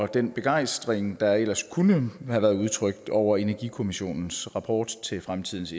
den begejstring der ellers kunne have været udtrykt over energikommissionens rapport til fremtidens